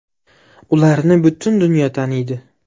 Ularni butun dunyo taniydi!